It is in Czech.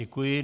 Děkuji.